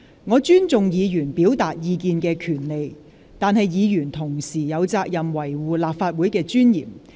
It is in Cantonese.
我尊重議員表達意見的權利，但議員同時有責任維護立法會的尊嚴。